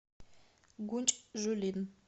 гунчжулин